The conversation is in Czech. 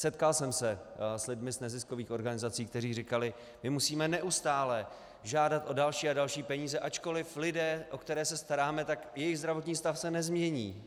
Setkal jsem se s lidmi z neziskových organizací, kteří říkali: My musíme neustále žádat o další a další peníze, ačkoliv lidé, o které se staráme, tak jejich zdravotní stav se nezmění.